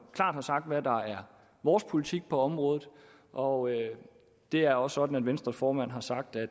klart har sagt hvad der er vores politik på området og det er også sådan at venstres formand har sagt at